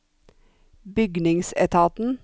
bygningsetaten